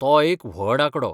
तो एक व्हड आंकडो !